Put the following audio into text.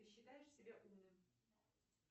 ты считаешь себя умным